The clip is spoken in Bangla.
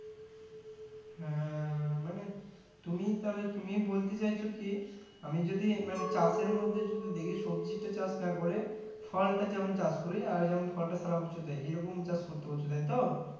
হ্যাঁ মানে তুমি তাহলে তুমি বলতে চাইছো কি আমি যদি মানে চাষের মধ্যে যদি দেখি সবজি টা চাষ না করে ফল টা যেমন চাষ করি আর যেমন ফল টা সারা বছর দেয় এইরকম চাষ করতে বলছো তাইতো